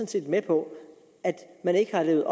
set med på at man ikke har levet